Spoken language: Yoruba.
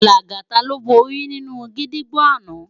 Lagata ló bóri ninú gidigbó àná